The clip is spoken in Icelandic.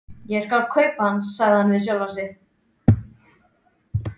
Ég skal kaupa hann, sagði hann við sjálfan sig.